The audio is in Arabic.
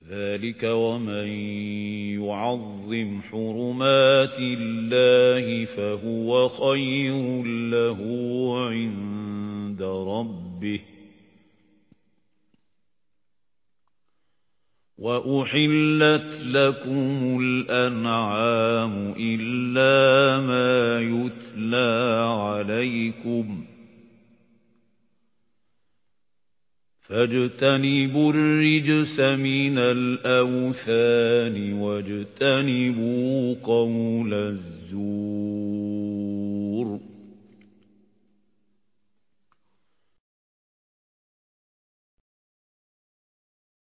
ذَٰلِكَ وَمَن يُعَظِّمْ حُرُمَاتِ اللَّهِ فَهُوَ خَيْرٌ لَّهُ عِندَ رَبِّهِ ۗ وَأُحِلَّتْ لَكُمُ الْأَنْعَامُ إِلَّا مَا يُتْلَىٰ عَلَيْكُمْ ۖ فَاجْتَنِبُوا الرِّجْسَ مِنَ الْأَوْثَانِ وَاجْتَنِبُوا قَوْلَ الزُّورِ